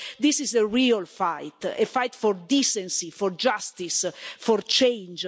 So this is the real fight, a fight for decency, for justice and for change.